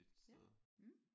Ja mh